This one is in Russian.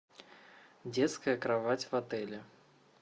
детская кровать в отеле